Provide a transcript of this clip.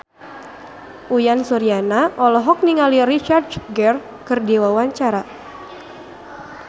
Uyan Suryana olohok ningali Richard Gere keur diwawancara